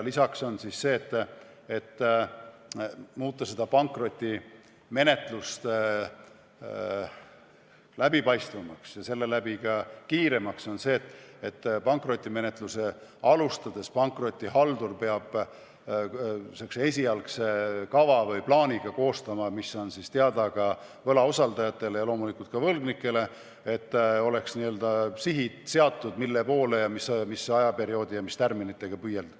Lisaks, pankrotimenetluse läbipaistvamaks ja seeläbi kiiremaks muutmiseks peab pankrotihaldur menetlust alustades koostama esialgse kava või plaani, mis on siis teada võlausaldajatele ja loomulikult ka võlgnikele, et oleks seatud sihid, mille poole, missuguse aja jooksul ja mis tärminitega püüelda.